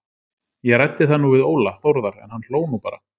Ég ræddi það nú við Óla Þórðar en hann hló nú bara.